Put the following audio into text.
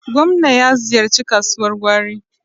Gwamna ya ziyarci kasuwar gwari.